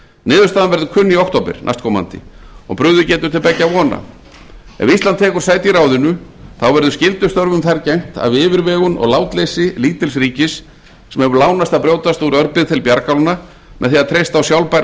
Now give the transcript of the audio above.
niðurstaðan verður kunn í október næstkomandi og brugðið getur til beggja vona ef ísland tekur sæti í ráðinu verður skyldustörfum þar gegnt af yfirvegun og látleysi lítils ríkis sem hefur lánast að brjótast úr örbirgð til bjargálna með því að treysta á sjálfbæra